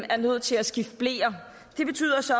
er nødt til at skifte bleer det betyder så